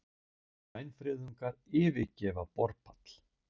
Grænfriðungar yfirgefa borpall